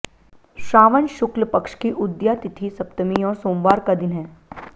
श्रावण शुक्ल पक्ष की उदया तिथि सप्तमी और सोमवार का दिन है